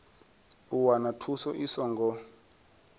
u wana thuso i songo